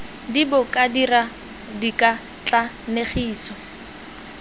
d bo ka dira dikatlanegiso